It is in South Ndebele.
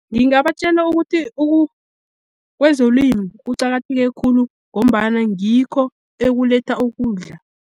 Ngingabatjela ukuthi kwezolimo kucakatheke khulu, ngombana ngikho ekuletha ukudla.